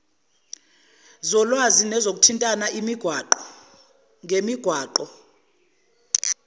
zolwazi nezokuthintana imigwaqo